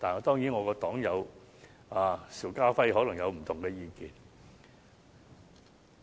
當然，我的黨友邵家輝議員可能有不同意見。